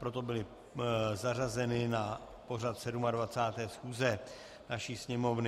Proto byly zařazeny na pořad 27. schůze naší Sněmovny.